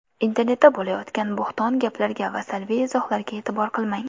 Internetda bo‘layotgan bo‘hton gaplarga va salbiy izohlarga e’tibor qilmang!